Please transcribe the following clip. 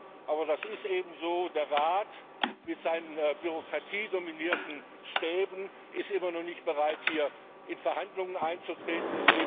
Leider aber das ist eben so ist der Rat mit seinen bürokratiedominierten Stäben immer noch nicht bereit, hier in Verhandlungen einzutreten.